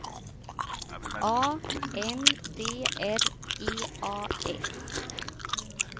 A N D R E A S